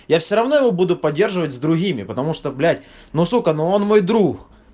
я все равно его буду поддерживать с другими потому что блять ну сука ну он мой друг